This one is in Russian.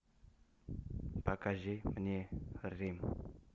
покажи мне рим